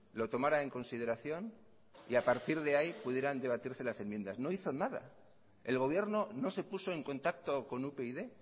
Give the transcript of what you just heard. lo tomará en consideración y a partir de ahí pudieran debatirse las enmiendas no hizo nada el gobierno no se puso en contacto con upyd